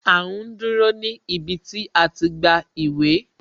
A ń dúró ní ibi tí a ti gba ìwé